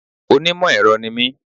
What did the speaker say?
Onímò èro ni mí